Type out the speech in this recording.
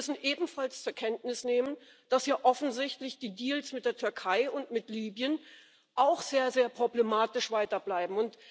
Wir müssen ebenfalls zur Kenntnis nehmen, dass offensichtlich die Deals mit der Türkei und mit Libyen auch weiter sehr problematisch bleiben.